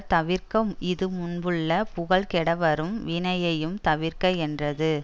தவிர்க இது முன்புள்ள புகழ் கெடவரும் வினையையும் தவிர்க என்றது